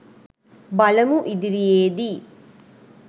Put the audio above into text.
බලමු ඉදිරියේදී